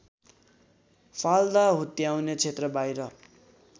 फाल्दा हुत्याउने क्षेत्रबाहिर